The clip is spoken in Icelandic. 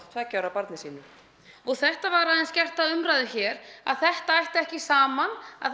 tveggja ára barni sínu þetta var aðeins gert að umræðu hér að þetta ætti ekki saman að